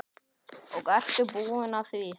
Og ertu búin að því?